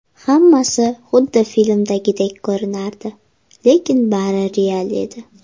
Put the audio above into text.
Hammasi xuddi filmdagidek ko‘rinardi, lekin bari real edi.